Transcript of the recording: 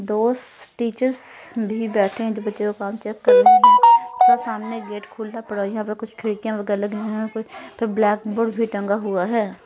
दो टीचर्स भी बैठे हैं जो बच्चों का काम चेक कर रहे हैं सामने एक गेट खुला पड़ा यहां पे कुछ खिड़कियां वगैर लगे हैं कुछ ब्लैकबोर्ड भी टंगा हुआ है।